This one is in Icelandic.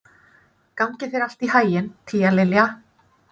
Gangi þér allt í haginn, Tíalilja.